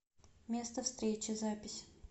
место встречи запись